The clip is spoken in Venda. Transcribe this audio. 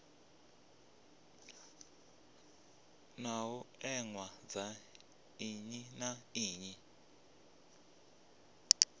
ṱhoḓea dza nnyi na nnyi